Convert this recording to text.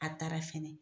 A taara fɛnɛ